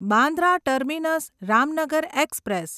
Bandra terminus Ramnagar express